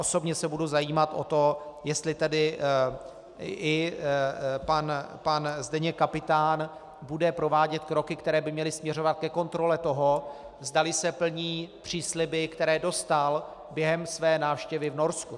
Osobně se budu zajímat o to, jestli tedy i pan Zdeněk Kapitán bude provádět kroky, které by měly směřovat ke kontrole toho, zdali se plní přísliby, které dostal během své návštěvy v Norsku.